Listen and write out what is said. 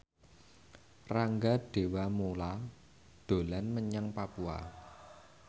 Rangga Dewamoela dolan menyang Papua